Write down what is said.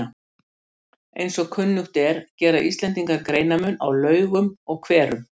Eins og kunnugt er gera Íslendingar greinarmun á laugum og hverum.